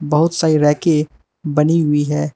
बहुत सारी रैके बनी हुई है।